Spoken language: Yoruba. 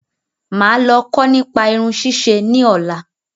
Máà lọ kó nípa Irun ṣísẹ ni ọ̀la